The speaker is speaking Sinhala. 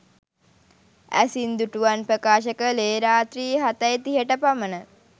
ඇසින් දුටුවන් ප්‍රකාශ කළේ රාත්‍රී හතයි තිහට පමණ